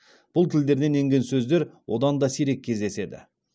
бұл тілдерден енген сөздер одан да сирек кездеседі